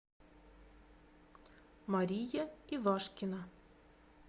мария ивашкина